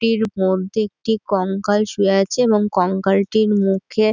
এটির মধ্যে একটি কঙ্কাল শুয়ে আছে এবং কঙ্কাল টির মুখে--